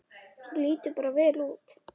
Þú lítur bara vel út!